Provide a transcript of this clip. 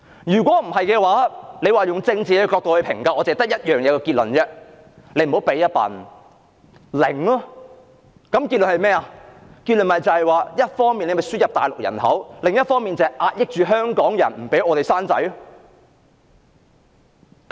若以政治角度作出評價，只有一個結論，那就是政府倒不如不要提供任何侍產假，一方面輸入大陸人口，另一方面則壓抑香港人，不讓我們生育下一代。